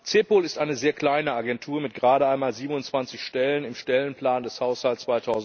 CEPOL ist eine sehr kleine Agentur mit gerade einmal 27 Stellen im Stellenplan des Haushalts